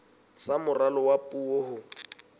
sa moralo wa puo ho